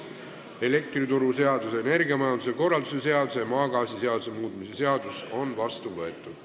Elektrituruseaduse, energiamajanduse korralduse seaduse ja maagaasiseaduse muutmise seadus on vastu võetud.